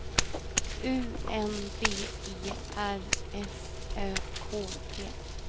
U N D E R S Ö K T